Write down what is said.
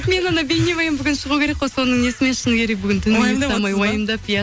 мен анау бейнебаян бүгін шығу керек қой соны несімен шыны керек бүгін уайымдап иә